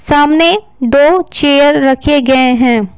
सामने दो चेयर रखे गए हैं।